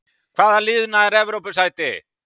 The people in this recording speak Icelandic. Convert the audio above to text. Hvaða lið nær Evrópusæti?